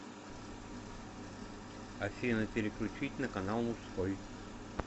афина переключить на канал мужской